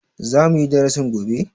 Za muyi darasin gobe?